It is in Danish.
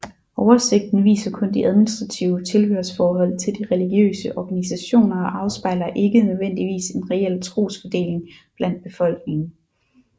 Oversigten viser kun de administrative tilhørsforhold til de religiøse organisationer og afspejler ikke nødvendigvis en reel trosfordeling blandt befolkningen